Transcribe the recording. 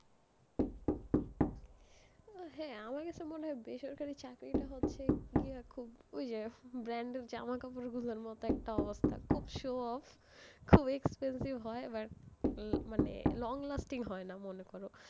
হ্যাঁ, আমারও এটা মনে হয়, বেসরকারি চাকরি টা হচ্ছে গিয়ে খুব, ওই যে brand জামাকাপড় গুলোর মত একটা অবস্থা, খুব show off, খুব expensive, হয় but আহ মানে long lasting হয়না মনে করো।